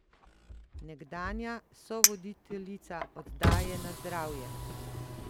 Nekdanja sovoditeljica oddaje Na zdravje!